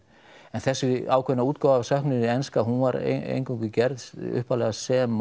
en þessi ákveðna útgáfa af söknuði enska hún var eingöngu gerð upphaflega sem